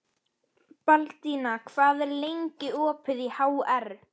Til að skála í fyrir nýju ári.